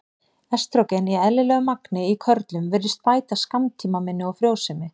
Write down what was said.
Estrógen í eðlilegu magni í körlum virðist bæta skammtímaminni og frjósemi.